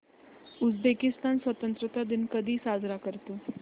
Uzbekistan स्वतंत्रता दिन कधी साजरा करतो